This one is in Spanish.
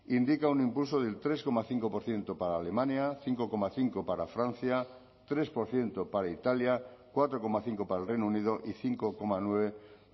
indica un impulso del tres coma cinco por ciento para alemania cinco coma cinco para francia tres por ciento para italia cuatro coma cinco para el reino unido y cinco coma nueve